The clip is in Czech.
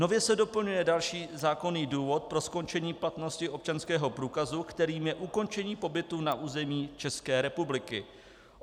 Nově se doplňuje další zákonný důvod pro skončení platnosti občanského průkazu, kterým je ukončení pobytu na území České republiky.